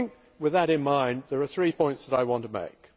With that in mind there are three points that I want to make.